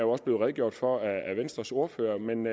også blevet redegjort for af venstres ordfører men